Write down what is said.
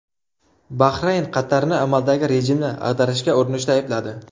Bahrayn Qatarni amaldagi rejimni ag‘darishga urinishda aybladi.